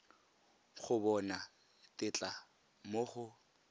go bona tetla mo go